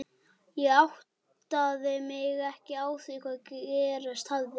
Ég áttaði mig ekki á því hvað gerst hafði.